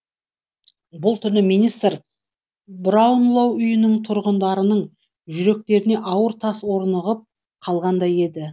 бұл түні министер браунлоу үйінің тұрғындарының жүректеріне ауыр тас орнығып қалғандай еді